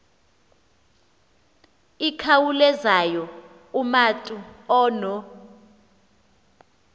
ikhawulezayo umatu ono